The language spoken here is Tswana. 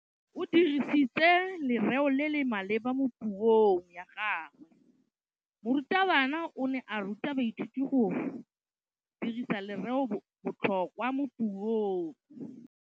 O dirisitse lerêo le le maleba mo puông ya gagwe. Morutabana o ne a ruta baithuti go dirisa lêrêôbotlhôkwa mo puong.